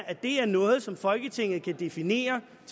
at det er noget som folketinget kan definere